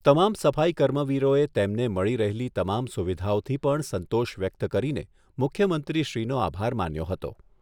તમામ સફાઈ કર્મવીરોએ તેમને મળી રહેલી તમામ સુવિધાઓથી પણ સંતોષ વ્યક્ત કરીને મુખ્યમંત્રીશ્રીનો આભાર માન્યો હતો.